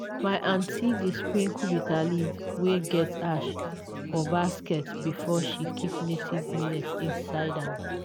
my aunty dey sprinkle bitterleaf wey get ash for basket before she keep native millet seed inside am